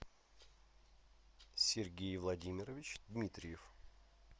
сергей владимирович дмитриев